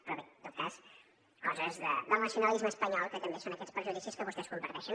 però bé en tot cas coses del nacionalisme espanyol que també són aquests prejudicis que vostès comparteixen